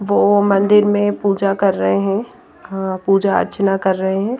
वो मंदिर में पूजा कर रहे हैं खअअ पूजा अर्चना कर रहे हैं।